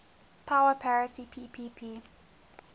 power parity ppp